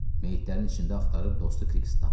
Meyitlərin içində axtarıb dostu Krixi tapdı.